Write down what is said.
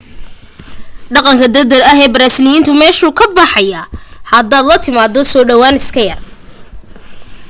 dhaqanka degdeg ahee beershiyaanku meeshuu ka baxayaa hadaad la timaado soo dhawaan iska yar